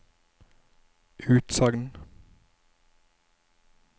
utsagn